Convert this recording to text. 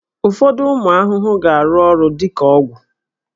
Ụfọdụ ụmụ ahụhụ ga-arụ ọrụ dị ka ọgwụ